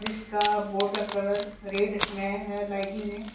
इसका बोर्ड का colour red में है लाइटिंग में।